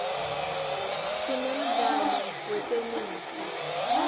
sinemdlalo wetenesi